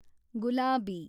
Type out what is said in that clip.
ಗುಲಾಬಿ